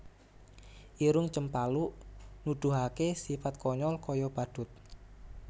Irung Cempaluk Nuduhaké sipat konyol kaya badhut